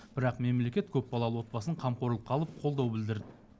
бірақ мемлекет көпбалалы отбасын қамқорлыққа алып қолдау білдірді